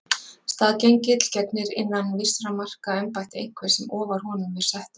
Staðgengill gegnir innan vissra marka embætti einhvers sem ofar honum er settur.